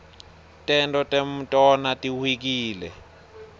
tento tmutona tihwkile